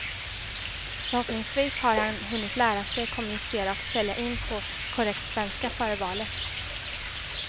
Förhoppningsvis har han hunnit lära sig kommunicera och sälja in på korrekt svenska före valet.